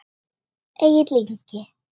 Egill Ingi.